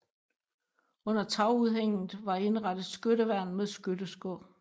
Under tagudhænget var indrettet skytteværn med skydeskår